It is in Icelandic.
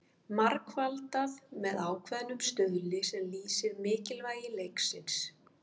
Margfaldað með ákveðnum stuðli sem lýsir mikilvægi leiksins.